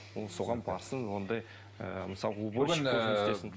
ол соған барсын ондай ыыы мысалға уборщик болып жұмыс істесін